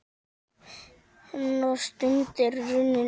Hennar stund er runnin upp.